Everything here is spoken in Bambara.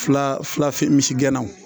Fila fila fi misigɛnnaw